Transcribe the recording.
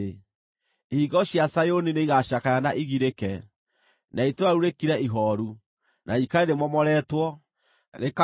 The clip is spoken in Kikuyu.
Ihingo cia Zayuni nĩigacakaya na igirĩke, na itũũra rĩu rĩkire ihooru, na rĩikare rĩmomoretwo, rĩkagũa thĩ.